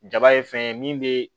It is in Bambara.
Jaba ye fɛn ye min bɛ